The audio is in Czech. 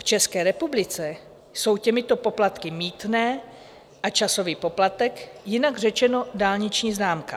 V České republice jsou těmito poplatky mýtné a časový poplatek, jinak řečeno dálniční známka.